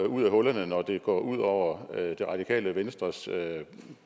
ud af hullerne når det går ud over medlemmerne af det radikale venstres